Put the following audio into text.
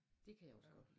Det kan jeg også godt lide